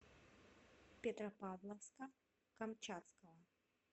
петропавловска камчатского